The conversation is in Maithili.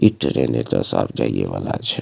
इ ट्रेन एता से आब जाइये वला छै।